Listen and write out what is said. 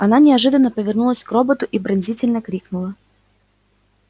она неожиданно повернулась к роботу и пронзительно крикнула